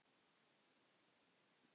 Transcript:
Hún brosir skakkt.